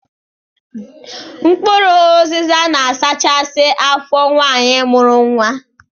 Mkpụrụ ụzịza na-asachasị afọ nwaanyi mụrụ nwa.